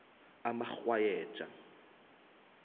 umarhwayeja